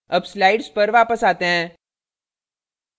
अब slides पर वापस आते हैं